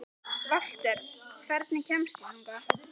Valter, hvernig kemst ég þangað?